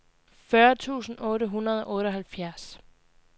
fyrre tusind otte hundrede og otteoghalvfjerds